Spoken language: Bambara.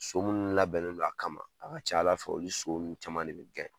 So munnu labɛnnen don kama, a ka ca Ala fɛ olu so nunnu caman de bi